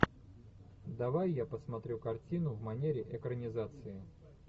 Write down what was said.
давай я посмотрю картину в манере экранизации